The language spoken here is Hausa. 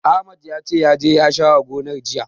Ahmad ya ce, ya je ya share gonar, jiya.